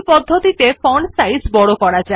দেখুন লেখাটির ফন্টের সাইজ ছোটো হয়ে গেছে